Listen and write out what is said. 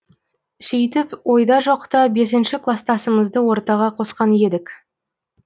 сөйтіп ойда жоқта бесінші кластасымызды ортаға қосқан едік